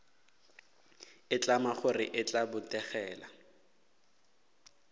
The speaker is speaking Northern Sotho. itlama gore e tla botegela